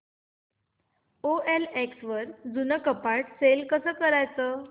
OLX वर जुनं कपाट सेल कसं करायचं